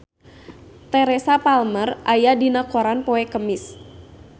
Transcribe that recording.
Teresa Palmer aya dina koran poe Kemis